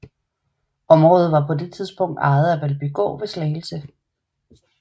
Området var på det tidspunkt ejet af Valbygård ved Slagelse